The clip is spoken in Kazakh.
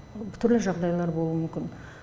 түрлі жағдайлар болуы мүмкін